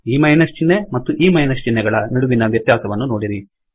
ಈ ಮೈನಸ್ ಚಿಹ್ನೆ ಮತ್ತು ಈ ಮೈನಸ್ ಚಿಹ್ನೆಗಳ ನಡುವಿನ ವ್ಯತ್ಯಾಸವನ್ನು ನೋಡಿರಿ